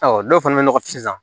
dɔw fana bɛ nɔgɔ fizan